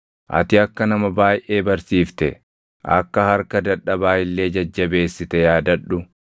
Ati akka nama baayʼee barsiifte, akka harka dadhabaa illee jajjabeessite yaadadhu.